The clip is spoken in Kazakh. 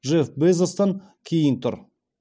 джефф безостан кейін тұр